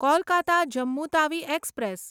Kolkata Jammu Tawi express